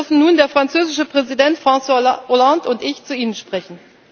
Heute dürfen nun der französische Präsident François Hollande und ich zu Ihnen sprechen.